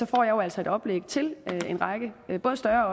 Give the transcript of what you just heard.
får jeg jo altså et oplæg til en række både større